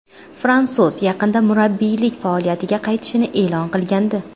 Fransuz yaqinda murabbiylik faoliyatiga qaytishini e’lon qilgandi .